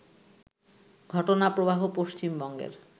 ঘটনাপ্রবাহ পশ্চিমবঙ্গের